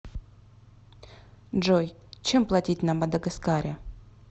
джой чем платить на мадагаскаре